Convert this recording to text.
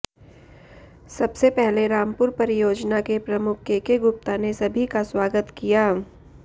सबसे पहले रामपुर परियोजना के प्रमुख केके गुप्ता ने सभी का स्वागत किया